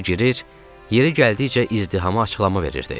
yeri gəldikcə izdihama açıqlama verirdi.